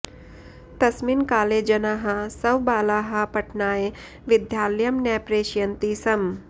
तस्मिन् काले जनाः स्वबालाः पठनाय विद्यालयं न प्रेषयन्ति स्म